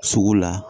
Sugu la